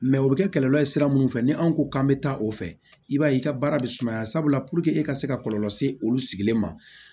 o bɛ kɛ kɔlɔlɔ ye sira minnu fɛ ni anw ko k'an bɛ taa o fɛ i b'a ye i ka baara bɛ sumaya sabula e ka se ka kɔlɔlɔ se olu sigilen ma